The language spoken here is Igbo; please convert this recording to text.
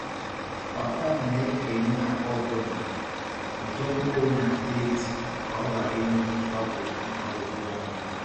Papa m na-ekenye akpa ọ bụla ụdị mkpụrụ na deeti ka ọ ghara inwe mgbagwoju mgbagwoju anya.